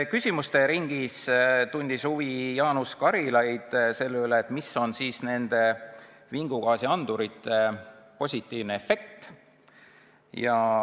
Küsimuste ringis tundis Jaanus Karilaid huvi selle vastu, mis on siis nende vingugaasiandurite positiivne efekt.